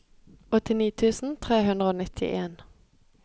åttini tusen tre hundre og nittien